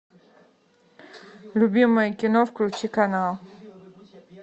любимое кино включи канал